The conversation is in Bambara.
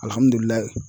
Alihamudulila